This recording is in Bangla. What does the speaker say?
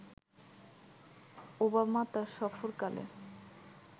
ওবামা তার সফরকালে